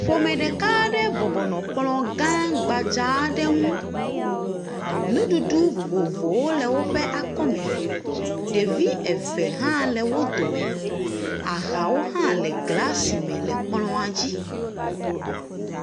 Ƒome ɖeka aɖe bɔbɔ nɔ kplɔ gbadzz aɖe ŋu, nuɖuɖu vovovowo le woƒe akɔme, ɖevi eve hã le wo dome, ahawo hã le glas me le kplɔa dzi.